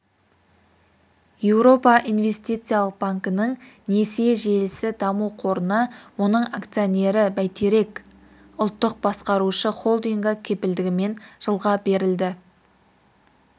еуропа инвестициялық банкінің несие желісі даму қорына оның акционері бәйтерек ұлттық басқарушы холдингі кепілдігімен жылға берілді